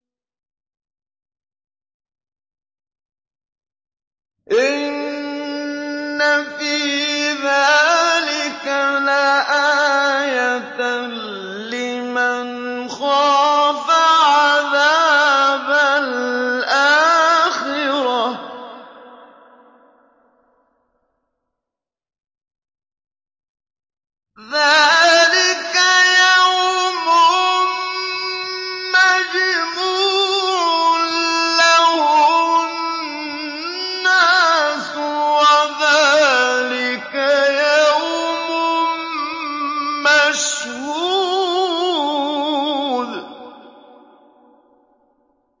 إِنَّ فِي ذَٰلِكَ لَآيَةً لِّمَنْ خَافَ عَذَابَ الْآخِرَةِ ۚ ذَٰلِكَ يَوْمٌ مَّجْمُوعٌ لَّهُ النَّاسُ وَذَٰلِكَ يَوْمٌ مَّشْهُودٌ